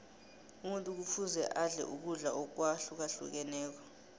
umuntu kufuze adle ukudla akwahlukahlukeneko